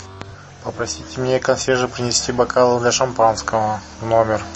попросите мне консьержа принести бокалы для шампанского в номер